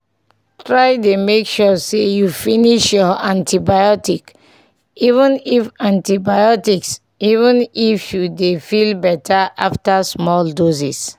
try dey make sure say you finish your antibiotics even if antibiotics even if you don dey feel better after small doses.